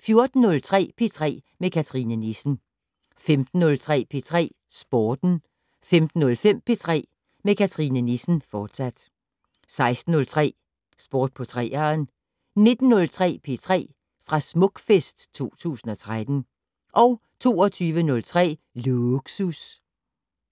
14:03: P3 med Cathrine Nissen 15:03: P3 Sporten 15:05: P3 med Cathrine Nissen, fortsat 16:03: Sport på 3'eren 19:03: P3 fra Smukfest 2013 22:03: Lågsus